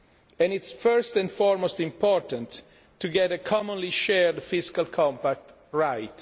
And it is first and foremost important to get a commonly shared fiscal compact right.